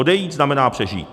Odejít znamená přežít.